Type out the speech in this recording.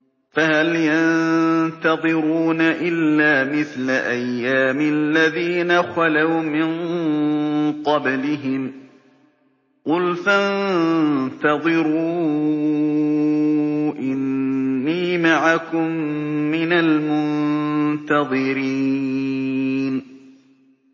فَهَلْ يَنتَظِرُونَ إِلَّا مِثْلَ أَيَّامِ الَّذِينَ خَلَوْا مِن قَبْلِهِمْ ۚ قُلْ فَانتَظِرُوا إِنِّي مَعَكُم مِّنَ الْمُنتَظِرِينَ